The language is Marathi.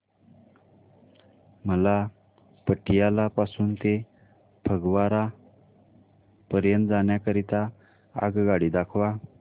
मला पटियाला पासून ते फगवारा पर्यंत जाण्या करीता आगगाड्या दाखवा